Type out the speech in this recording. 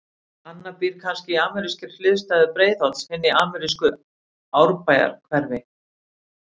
Annar býr kannski í amerískri hliðstæðu Breiðholts, hinn í amerísku Árbæjarhverfi.